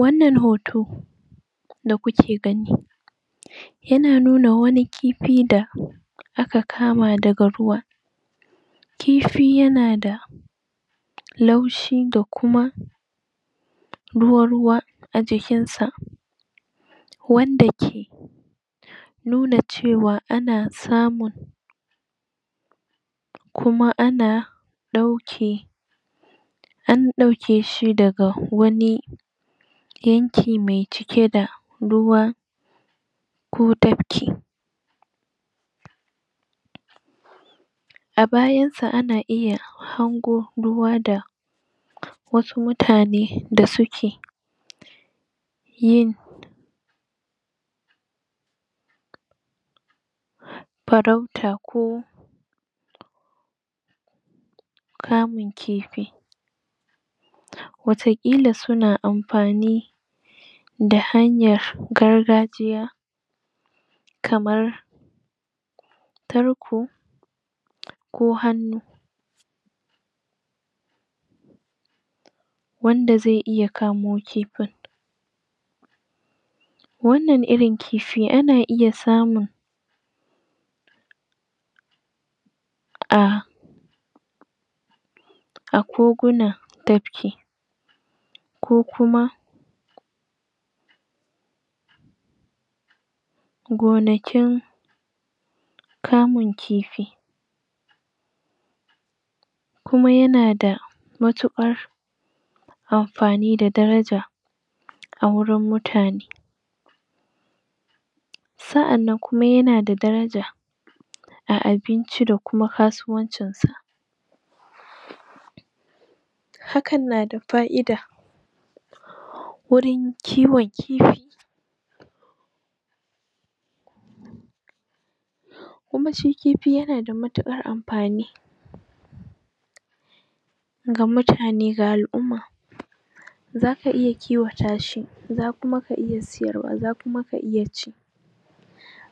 Wannan hoto Yana nuna wasu aladu Da ake kiwo A cikin keji Kejin yana da Bango Na suminti Da kuma ƙasa mai Cike da Ciyawa ko Busashen shuka Wanda ake amfani dashi Don ke.. Don ƙwanciya Dake rage Datti A tsakiya Akwai na'ura Wadda ke bayar da Abinci Ko ruwa Wannan irin ƙiwon Ana iya yinsa Ne domin Nama Ana iya ƙiwwta shine domin Noma da kuma kasuwanci Inda ake ciyar da Aladu harsu girma Don A siyar dasu Ko, yin amfani dasu wajen Sarrafa Nama da Da sauran Kayayyaki Kuma ƙiwon aladu Yana da Kwau Da kuma mahimmanci Da kuma kawo tattalin arziki Hakan yana da amfani A ringa ƙiwon aladu Da kuma ƙiwon dabbobi nau'ika-nau'ika Wanda zasu iya kawo cigaban arziƙi da cigaban ƙasa Da kuma Tattalin arziƙi A ƙasa